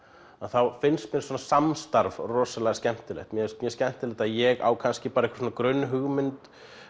þá finnst mér svona samstarf rosalega skemmtilegt mér finnst mjög skemmtilegt ég á kannski bara einhverja grunnhugmynd